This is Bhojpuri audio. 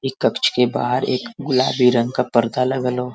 एक कक्ष के बाहर एक गुलाबी रंग का पर्दा लगल ह।